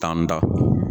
Tan da